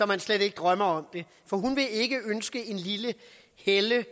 man slet ikke drømmer om det for hun vil ikke ønske sådan et lille helle